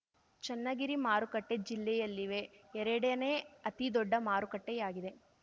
ಚನ್ನಗಿರಿ ಮಾರುಕಟ್ಟೆ ಜಿಲ್ಲೆಯಲ್ಲಿವೆ ಎರಡನೇ ಅತಿ ದೊಡ್ಡ ಮಾರುಕಟ್ಟೆಯಾಗಿದೆ